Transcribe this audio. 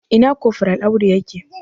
Ina kofral Audu ya ke?